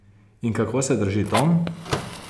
In kako se drži Tom?